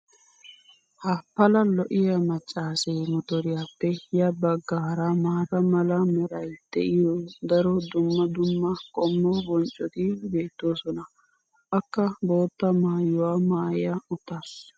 ha pala lo'iya macassee motoriyaappe ya bagaara maata mala meray de'iyo daro dumma dumma qommo bonccoti beetoosona. akka boottaa maayuwa maaya uttaasu.